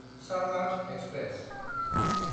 Sarnath express